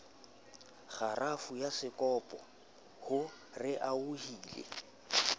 kgarafu ya sekopo ho raohile